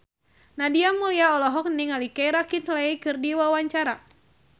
Nadia Mulya olohok ningali Keira Knightley keur diwawancara